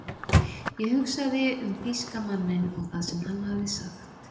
Ég hugsaði um þýska manninn og það sem hann hafði sagt.